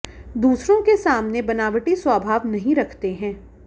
दूसरों के सामने बनावटी स्वभाव नहीं रखते हैं